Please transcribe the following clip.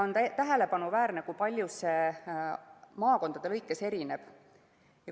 On tähelepanuväärne, kui palju see maakonniti erineb.